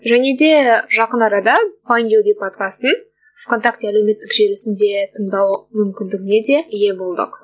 және де жақын арада файнд ю би подкастың в контакте әлеуметтік желісінде тыңдау мүмкіндігіне де ие болдық